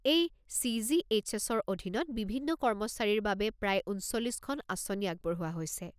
এই চি.জি.এইচ.এছ.-ৰ অধীনত বিভিন্ন কৰ্মচাৰীৰ বাবে প্ৰায় ঊনচল্লিছখন আঁচনি আগবঢ়োৱা হৈছে।